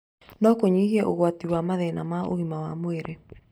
No kũnyihie ugwati wa mathina ma ũgima wa mwĩrĩ.